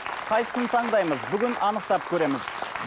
қайсысын таңдаймыз бүгін анықтап көреміз